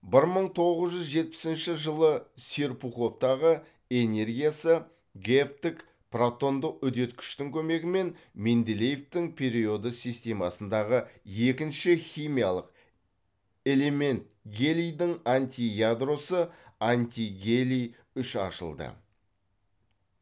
бір мың тоғыз жүз жетпісінші жылы серпуховтагы энергиясы гэвтік протондық үдеткіштің көмегімен менделеевтің периодты системасындагы екінші химиялық элемент гелийдің антиядросы антигелий үш ашылды